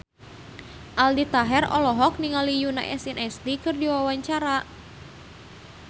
Aldi Taher olohok ningali Yoona SNSD keur diwawancara